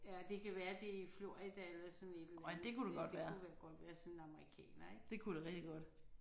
Ja det kan være det er i Florida eller sådan et eller andet sted det kunne vel godt være sådan en amerikaner ik